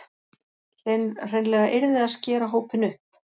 Hreinlega yrði að skera hópinn upp